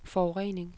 forurening